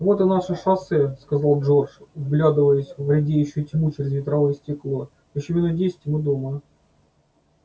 вот и наше шоссе сказал джордж вглядываясь в редеющую тьму через ветровое стекло ещё минут десять и мы дома